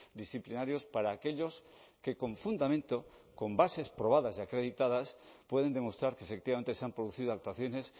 disciplinarios para aquellos que con fundamento con bases probadas y acreditadas pueden demostrar que efectivamente se han producido actuaciones